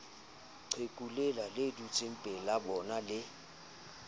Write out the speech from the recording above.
qheku lela le dutsengpelabona le